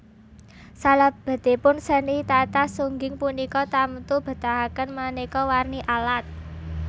Salebetipun seni tatah sungging punika tamtu betahaken maneka warni alat